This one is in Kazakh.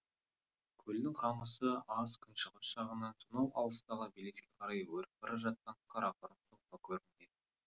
көлдің қамысы аз күншығыс жағынан сонау алыстағы белеске қарай өріп бара жатқан қарақұрым жылқы көрінеді